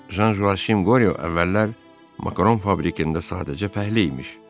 Jan Joakim Qoriyo əvvəllər makaron fabrikində sadəcə fəhlə imiş.